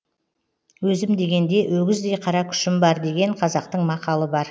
өзім дегенде өгіздей қара күшім бар деген қазақтың мақалы бар